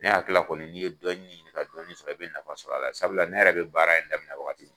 Ne hakili la kɔni n'i ye dɔnni ɲini ka dɔnni sɔrɔ i bɛ nafa sɔrɔ a la sabula ne yɛrɛ bɛ baara in daminɛ waati